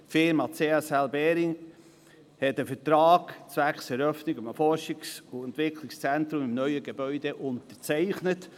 Die Firma CSL Behring hat einen Vertrag zwecks Eröffnung eines Forschungs- und Entwicklungszentrums im neuen Gebäude unterzeichnet.